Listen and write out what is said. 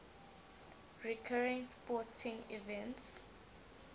recurring sporting events